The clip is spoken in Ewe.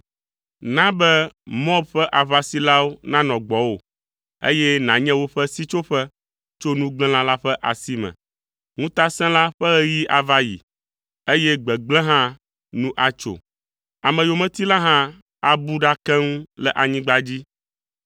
Na be Moab ƒe aʋasilawo nanɔ gbɔwò, eye nànye woƒe sitsoƒe tso nugblẽla ƒe asi me.” Ŋutasẽla ƒe ɣeyiɣi ava yi, eye gbegblẽ hã nu atso. Ameyometila hã abu ɖa keŋ le anyigba dzi.